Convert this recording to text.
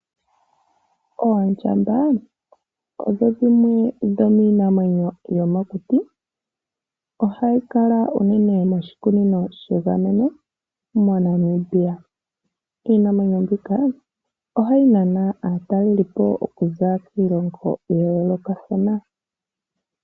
Oondjamba odho dhimwe dhomiinamwenyo yomokuti. Ohayi kala unene moshikunino shegameno moNamibia. Iinamwenyo mbika ohayi nana aatalelipo okuza kiilongo ya yoolokathana.